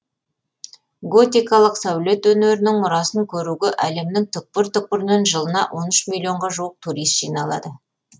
готикалық сәулет өнерінің мұрасын көруге әлемнің түкпір түкпірінен жылына он үш миллионға жуық турист жиналады